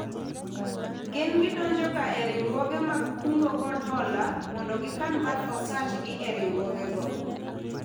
Gin gidonjo ga e riwruoge mag kungo kod hola mondo gikan bath osach gi e riwruogego